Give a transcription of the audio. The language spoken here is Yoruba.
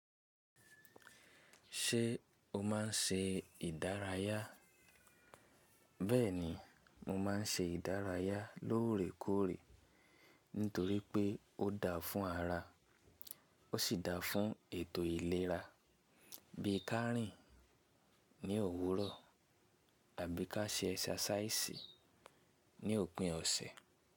Ṣé o máa ń ṣe ìdárayá? Bẹ́ẹ̀ni, mo máa ń ṣe ìdárayá lóòrèkóòrè nítorí pé ó dáa fún ara ó sì dáa fún ètò ìlera bí i ká rìn ní òwúrọ̀ àbí ká ṣe ẹ̀ṣàṣáìsì ní òpin ọ̀sẹ̀.